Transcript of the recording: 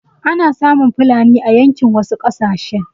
Ana samun fulani a yankin wasu ƙasashen.